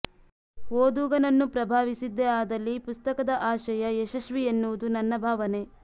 ಓದುಗನನ್ನು ಪ್ರಭಾವಿಸಿದ್ದೇ ಆದಲ್ಲಿ ಪುಸ್ತಕದ ಆಶಯ ಯಶಸ್ವಿ ಎನ್ನುವುದು ನನ್ನ ಭಾವನೆ